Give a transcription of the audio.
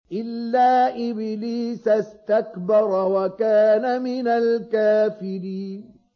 إِلَّا إِبْلِيسَ اسْتَكْبَرَ وَكَانَ مِنَ الْكَافِرِينَ